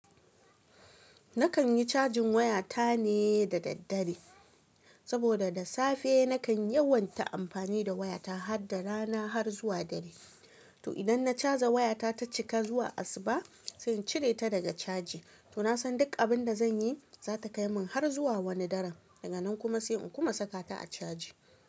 Nakan yi cajin waya ta ne da daddare, saboda da safe nakan yawan ta amfani da waya ta, har da rana har zuwa dare. Toh, idan na caja waya ta, ta cika zuwa asuba, sai in cire ta daga caji. Toh, nasan duk abin da zan yi, za ta kai min har zuwa wani daren, daga nan kuma sai in kuma saka ta a caji.